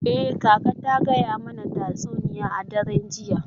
Eh, kaka ta gaya mana tatsuniya a daren jiya.